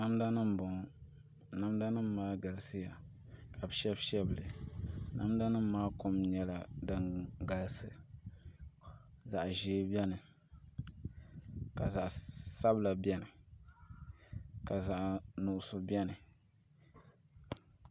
Namda nim n bɔŋɔ namda nim maa galisiya ka bi shɛbi shɛbi li namda nim maa kom nyɛla din galisi zaɣ ʒiɛ biɛni ka zaɣ sabila biɛni ka zaɣ nuɣso biɛni